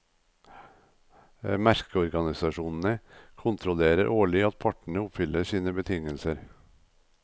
Merkeorganisasjonene kontrollerer årlig at partene oppfyller sine betingelser.